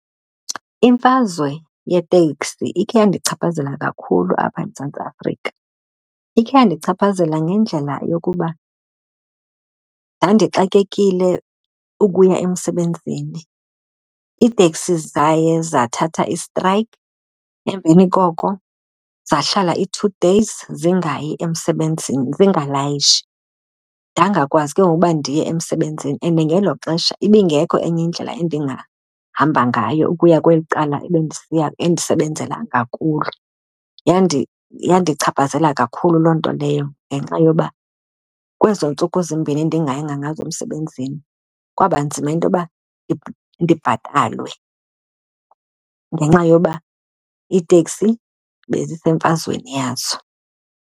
Imfazwe yeteksi ikhe yandichaphazela kakhulu apha eMzantsi Afrika. Ikhe yandichaphazela ngendlela yokuba ndandixakekile ukuya emsebenzini. Iiteksi zaye zathatha istrayikhi emveni koko zahlala i-two days zingayi emsebenzini, zingalayishi. Ndangakwazi ke ngoku uba ndiye emsebenzini and ngelo xesha, ibingekho enye indlela endingahamba ngayo ukuya kweli cala ebendisiya endisebenzela ngakulo. Yandichaphazela kakhulu loo nto leyo ngenxa yoba kwezo ntsuku zimbini ndingayanga ngazo emsebenzini, kwaba nzima into yoba ndibhatalwe ngenxa yoba iiteksi benzisenfazweni yazo.